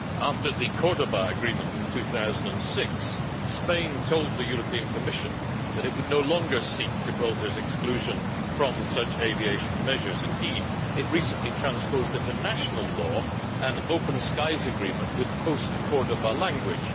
After the Cordoba Agreement in 2006, Spain told the Commission that it would no longer seek Gibraltar's exclusion from such aviation measures. Indeed, it recently transposed into national law an open skies agreement with post Cordoba language